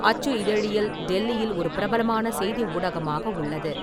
அச்சு இதழியல் டெல்லியில் ஒரு பிரபலமான செய்தி ஊடகமாக உள்ளது.